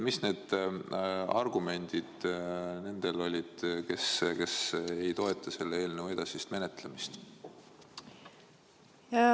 Mis argumendid olid nendel, kes ei toeta selle eelnõu edasist menetlemist?